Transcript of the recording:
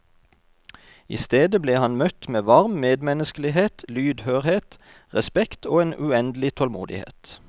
I stedet ble han møtt med varm medmenneskelighet, lydhørhet, respekt og en uendelig tålmodighet.